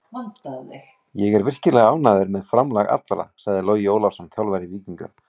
Ég er virkilega ánægður með framlag allra, sagði Logi Ólafsson, þjálfari Víkinga.